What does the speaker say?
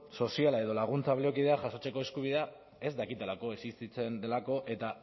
soziala edo laguntza baliokidea jasotzeko eskubidea ez dakitelako existitzen delako eta